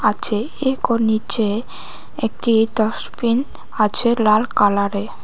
আছে একো নীচে একটি ডাস্টবিন আছে লাল কালারে।